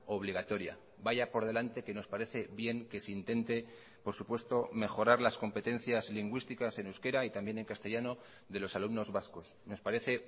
obligatoria vaya por delante que nos parece bien que se intente por supuesto mejorar las competencias lingüísticas en euskera y también en castellano de los alumnos vascos nos parece